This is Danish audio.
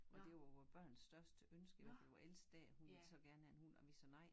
Og det var vores børn største ønske i hvert fald vores ældste datter hun ville så gerne have en hund og vi sagde nej